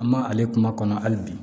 An ma ale kuma kɔnɔ hali bi